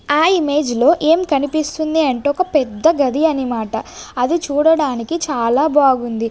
ఆ ఇమేజ్ లో ఏం కనిపిస్తుంది అంటే ఒక పెద్ద గది అనిమాట అది చూడడానికి చాలా బాగుంది.